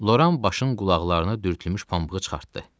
Loran başın qulaqlarına dürtülmüş pambığı çıxartdı.